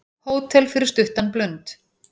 Hótel fyrir stuttan blund